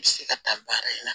N bɛ se ka taa baara in na